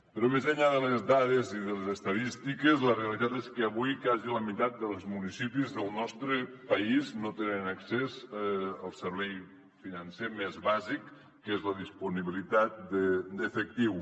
però més enllà de les dades i de les estadístiques la realitat és que avui quasi la meitat dels municipis del nostre país no tenen accés al servei financer més bàsic que és la disponibilitat d’efectiu